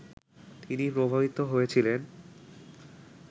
তিনি প্রভাবিত হয়েছিলেন